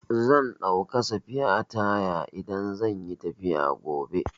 Zan ɗauka sfiya taya idan zan yi tafiya gobe.